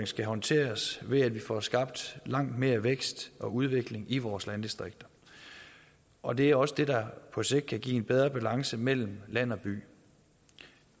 skal håndteres ved at vi får skabt langt mere vækst og udvikling i vores landdistrikter og det er også det der på sigt kan give en bedre balance mellem land og by